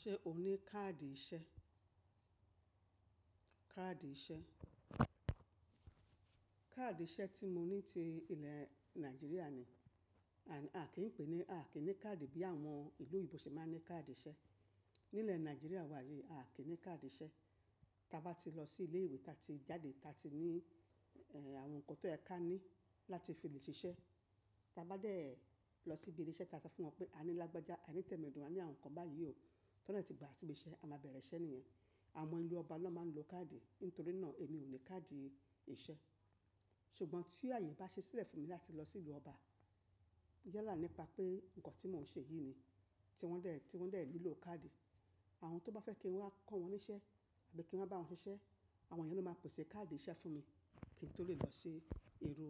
Ṣe ò ní káàdì ìṣe? Káàdì ìṣe, káàdì ìṣe tí mo ní ti ilẹ̀ Nàìjíríà ni, and à kí ń pè é ní, a kìí ní káàdì bí àwọn ìlú oyinbo ṣe máa ń ní káàdì ìṣe. Nílẹ̀ Nàìjíríà wa yìí a kì í ní káàdì ìṣe. Taa bá ti lọ sí ilé ìwé ta ti jáde, ta ti ní ẹ́ àwọn nǹkan tó yẹ ká ní láti fi lè ṣiṣẹ́. Ta bá dẹ̀ lọ síbi ile ìṣe, ta fe fún wọn pé a ní lágbájá, a ní tẹ̀medún, a ní àwọn nǹkan báyìí o. Tọ́nà de tí gba sibiṣe a máa bẹ̀rẹ̀ iṣẹ́ nìyẹn. Àwọn ìlú ọba lón máa ń lo káàdì, nítorí náà èmi ò ní káàdì ìṣe. Ṣùgbọ́n tí ààyè bá ṣi sílẹ̀ fún mi láti lọ sílú ọba, yalà nípa pé nǹkan tí mo ń ṣe yìí ni tí wọ́n dẹ̀, tí wọ́n dẹ̀ ńilò káàdì. Àwọn tó bá fẹ́ kí n wá kọ́ wọn níṣẹ́ àbí kí n wá bá wọn ṣiṣẹ́, àwọn yen ló máa pèsè káàdì ìṣe fún mi kí n tó lè lọ si iru